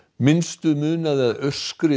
minnstu munaði að aurskriða